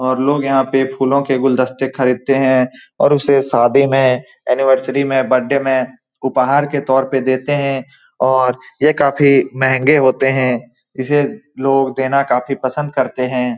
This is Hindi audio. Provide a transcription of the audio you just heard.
और लोग यहाँ पर फूलों के गुलदस्ते खरीदते हैं और उससे शादी में एनिवर्सरी में बर्थडे में उपहार देते है और ये काफी महंगे होते हैं इस लोग देना काफी पसंद करते हैं ।